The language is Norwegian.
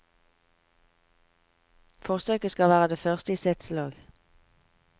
Forsøket skal være det første i sitt slag.